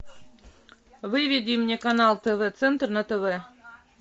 выведи мне канал тв центр на тв